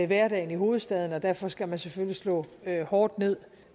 hverdagen i hovedstaden og derfor skal man selvfølgelig slå hårdt ned